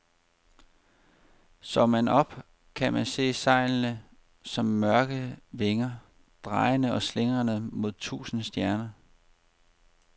Så man op, kunne man se sejlene som mørke vinger, drejende og slingrende mod tusinde stjerner.